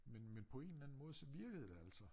Men men på en eller anden måde så virkede det altså